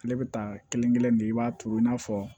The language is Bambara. Ale bɛ taa kelen-kelen de i b'a turu i n'a fɔ